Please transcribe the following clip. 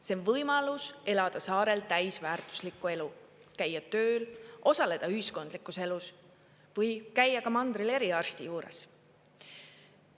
See on võimalus elada saarel täisväärtuslikku elu, käia tööl, osaleda ühiskondlikus elus või käia ka mandril eriarsti juures.